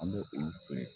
An bɛ olu feere